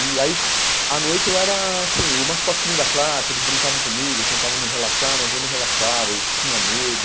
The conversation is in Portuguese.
E aí, à noite, eu era assim o mascotinho da classe, eles brincavam comigo, tentavam me relaxar, mas eu não relaxava, eu tinha medo,